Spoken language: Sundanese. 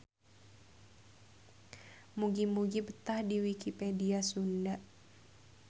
Mugi-mugi betah di Wikipedia Sunda.